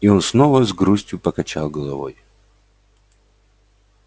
и он снова с грустью покачал головой